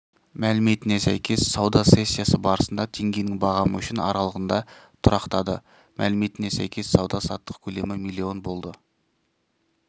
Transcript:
мәліметіне сәйкес сауда сессиясы барысында теңгенің бағамы үшін аралығында тұрақтады мәліметіне сәйкес сауда-саттық көлемі млн болды